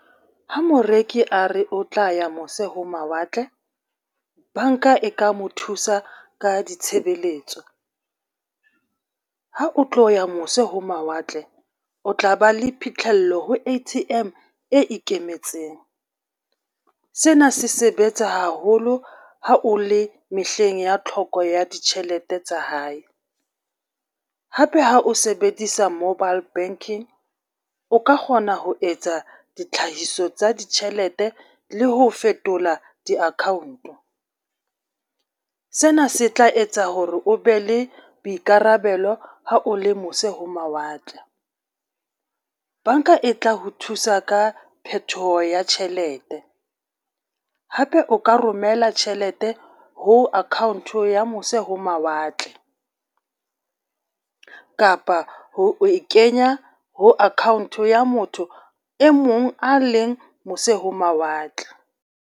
Ha moreki a re o tla ya mose ho mawatle, banka e ka mo thusa ka ditshebeletso. Ha o tlo ya mose ho mawatle, o tla ba le phitlhello ho A_T_M e ikemetseng. Sena se sebetsa haholo ha o le mehleng ya tlhoko ya ditjhelete tsa hae. Hape ha o sebedisa mobile banking o ka kgona ho etsa ditlhahiso tsa ditjhelete le ho fetola di-account. Sena se tla etsa hore o be le boikarabelo ha o le mose ho mawatle. Banka e tla ho thusa ka phetoho ya tjhelete, hape o ka romela tjhelete ho account ya mose ho mawatle kapa ho e kenya ho account ya motho e mong a leng mose ho mawatle.